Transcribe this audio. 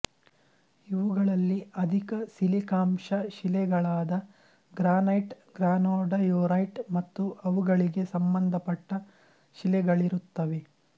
ಇವುಗಳಲ್ಲಿ ಅಧಿಕ ಸಿಲಿಕಾಂಶ ಶಿಲೆಗಳಾದ ಗ್ರಾನೈಟ್ ಗ್ರಾನೊಡಯೊರೈಟ್ ಮತ್ತು ಅವುಗಳಿಗೆ ಸಂಬಂಧಪಟ್ಟ ಶಿಲೆಗಳಿರುತ್ತವೆ